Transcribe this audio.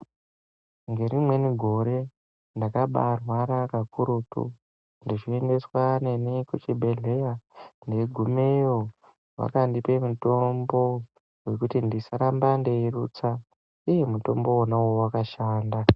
Ngeri mweni gore ndakabarwara kakurutu. Ndichiendeswa neni kuchibhedhlera ndei gumeyo vakandipa mitombo kuti ndisaramba ndeirutsa. Iiii mutombo inoo wakashanda.